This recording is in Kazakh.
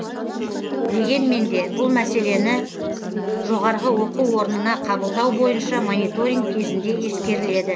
дегенмен де бұл мәселені жоғары оқу орнына қабылдау бойынша мониторинг кезінде ескеріледі